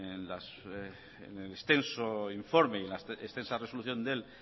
en el extenso informe y la extensa resolución del